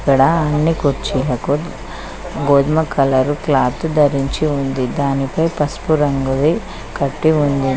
ఇక్కడ అన్ని కుర్చీలకు గోధుమ కలరు క్లాతు ధరించి ఉంది దానిపై పసుపు రంగు ది కట్టి ఉంది.